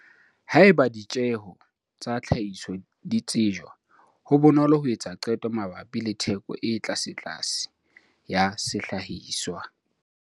Haeba ditjeho tsa tlhahiso di tsejwa, ho bonolo ho etsa qeto mabapi le theko e tlasetlase ya sehlahiswa.